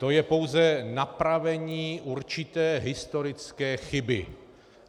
To je pouze napravení určité historické chyby.